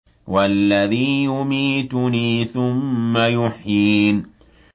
وَالَّذِي يُمِيتُنِي ثُمَّ يُحْيِينِ